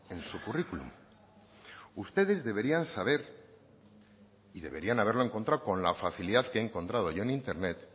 en su currículum ustedes deberían saber y deberían haberlo encontrado con la facilidad que lo he encontrado yo en internet